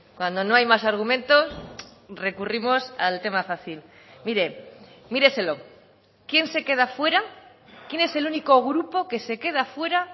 cuando no hay más argumentos recurrimos al tema fácil mire míreselo quién se queda fuera quién es el único grupo que se queda fuera